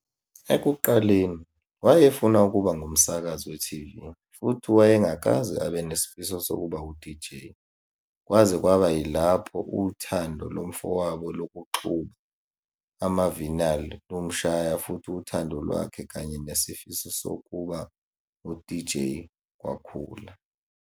Ekuqaleni, wayefuna ukuba ngumsakazi we-TV futhi wayengakaze abe nesifiso sokuba wu-DJ, kwaze kwaba yilapho uthando lomfowabo lokuxuba ama-vinyl lumshaya futhi uthando lwakhe kanye nesifiso sokuba ngu-DJ kwakhula.